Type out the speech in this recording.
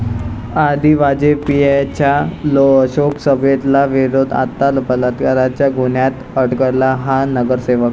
आधी वाजपेयींच्या शोकसभेला विरोध, आता बलात्काराच्या गुन्ह्यात अडकला हा नगरसेवक